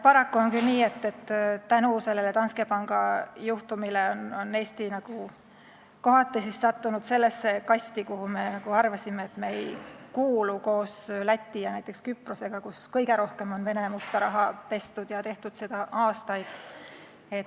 Paraku on küll nii, et tänu sellele Danske panga juhtumile on Eesti kohati sattunud nagu sellesse kasti, mille kohta me oleme arvanud, et meie sinna ei kuulu ja kus on Läti ja näiteks Küpros, riigid, kus on kõige rohkem Vene musta raha pestud ja tehtud seda aastaid.